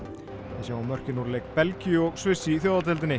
við sjáum mörkin úr leik Belgíu og Sviss í